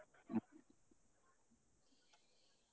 ಹ್ಮ್.